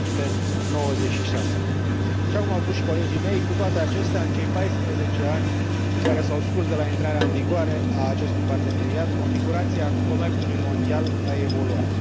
296. Așa cum au spus și colegii mei, cu toate acestea, în cei paisprezece ani care s au scurs de la intrarea în vigoare a acestui parteneriat, configurația comerțului mondial a evoluat.